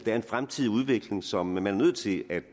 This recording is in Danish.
er en fremtidig udvikling som man er nødt til at